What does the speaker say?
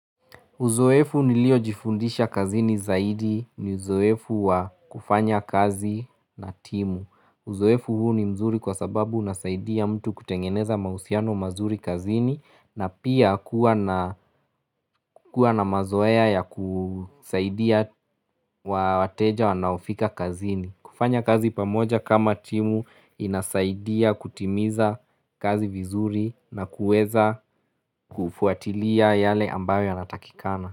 Uzoefu niliojifundisha kazini zaidi ni uzoefu wa kufanya kazi na timu. Uzoefu huu ni mzuri kwa sababu unasaidia mtu kutengeneza mahusiano mazuri kazini na pia kuwa na mazoea ya kusaidia wateja wanaofika kazini. Kufanya kazi pamoja kama timu inasaidia kutimiza kazi vizuri na kuweza kufuatilia yale ambayo yanatakikana.